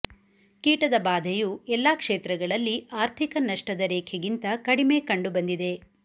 ಕೀಟದ ಬಾಧೆಯು ಎಲ್ಲ ಕ್ಷೇತ್ರಗಳಲ್ಲಿ ಆರ್ಥಿಕ ನಷ್ಟದ ರೇಖೆಗಿಂತ ಕಡಿಮೆ ಕಂಡುಬಂದಿದೆ